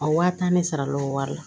A wa tan ne sara l'o wari la